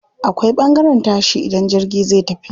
Akwai ɓangaren tashi idan jirgi zai tafi.